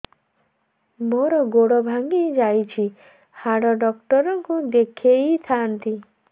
ମୋର ଗୋଡ ଭାଙ୍ଗି ଯାଇଛି ହାଡ ଡକ୍ଟର ଙ୍କୁ ଦେଖେଇ ଥାନ୍ତି